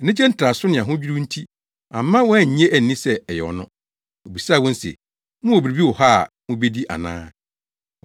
Anigyetraso ne ahodwiriw nti amma wɔannye anni sɛ ɛyɛ ɔno. Obisaa wɔn se, “Mowɔ biribi wɔ ha a mubedi ana?”